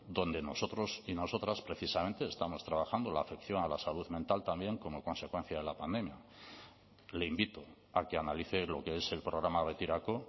donde nosotros y nosotras precisamente estamos trabajando la afección a la salud mental también como consecuencia de la pandemia le invito a que analice lo que es el programa betirako